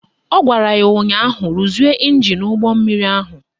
Ọ gwara ya ụnyaahụ "Ruzie ịnjin ụgbọmmiri ahụ"!